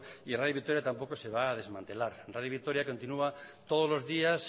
y radio vitoria tampoco se va a desmantelar radio vitoria continúa todos los días